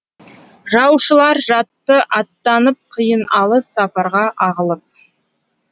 жаушылар жатты аттанып қиын алыс сапарға ағылып